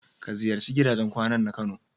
Ka ziyarci gidajen kwanan na kano.